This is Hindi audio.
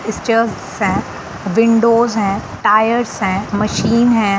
विंडोज है टायर्स है मशीन है।